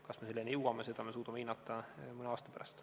Kas me selleni jõuame, seda me suudame hinnata aasta pärast.